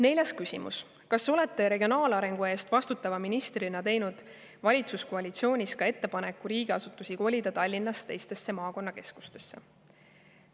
Neljas küsimus: "Kas olete regionaalarengu eest vastutava ministrina teinud valitsuskoalitsioonis ka ettepaneku riigiasutusi kolida Tallinnast teistesse maakonnakeskustesse?